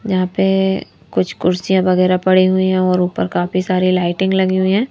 यहां पे कुछ कुर्सियां वगैरह पड़ी हुई हैं और ऊपर काफी सारी लाइटिंग लगी हुई है।